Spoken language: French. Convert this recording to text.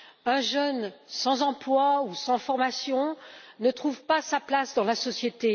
Un jeune sans emploi ou sans formation ne trouve pas sa place dans la société.